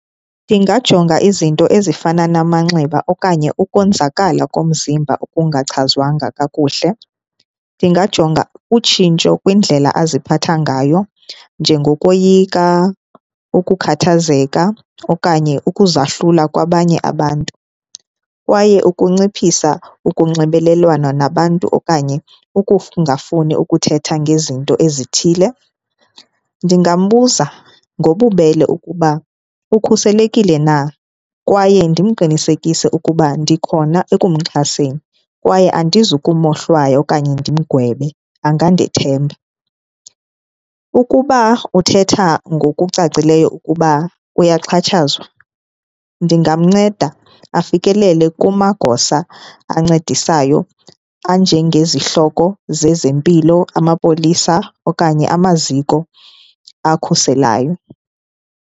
Ndingajonga izinto ezifana namanxeba okanye ukonzakala komzimba okungachazwanga kakuhle. Ndingajonga utshintsho kwindlela aziphatha ngayo njengokoyika, ukukhathazeka okanye ukuzahlula kwabanye abantu kwaye ukunciphisa ukunxibelelana nabantu okanye ukuthetha ngezinto ezithile. Ndingambuza ngobubele ukuba ukhuselekile na kwaye ndimqinisekise ukuba ndikhona ekumxhaseni kwaye andizukumohlwaya okanye ndimgwebe angandithemba. Ukuba uthetha ngokucacileyo ukuba uyaxhatshazwa ndingamnceda afikelele kumagosa ancedisayo anjengezihloko zezempilo, amapolisa okanye amaziko akhuselayo.